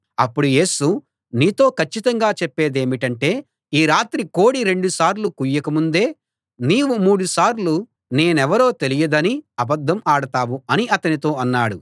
అప్పుడు యేసు నీతో కచ్చితంగా చెప్పేదేమిటంటే ఈ రాత్రి కోడి రెండు సార్లు కూయక ముందే నీవు మూడు సార్లు నేనెవరో తెలియదని అబద్ధం ఆడతావు అని అతనితో అన్నాడు